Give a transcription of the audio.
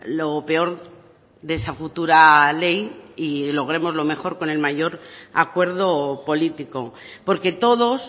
lo peor de esa futura ley y logremos lo mejor con el mayor acuerdo político porque todos